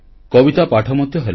କବିତା ପାଠ ମଧ୍ୟ ହେଲା